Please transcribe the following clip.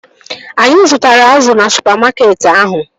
Anyị zụtara azụ na supamakeetị ahụ